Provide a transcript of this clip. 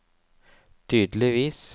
tydeligvis